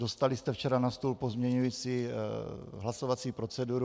Dostali jste včera na stůl pozměňující hlasovací proceduru.